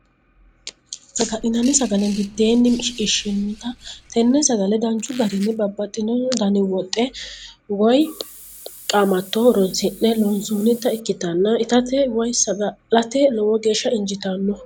Sagalinani sagale bideeninni shiqinshoonitta, tene sagale danchu garinni babaxitino dani woxxi woyi qaamato horonsi'ne loonsonitta ikkitann ittate woyi sagalate lowo geesha injitano